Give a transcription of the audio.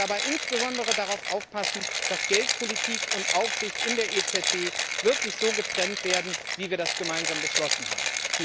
Dabei sollen wir insbesondere darauf aufpassen, dass Geldpolitik und Aufsicht in der EZB wirklich so getrennt werden, wie wir das gemeinsam beschlossen haben.